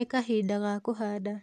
Nĩ kahinda ga kũhanda